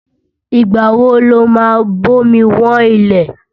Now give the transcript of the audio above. Ìgbà wo lo ma bomi wọ́n ilẹ̀?